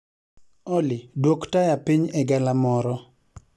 Olly dwok taya piny egalamoro